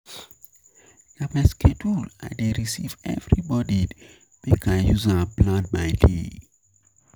Na my schedule I dey review every morning make I use am plan my day.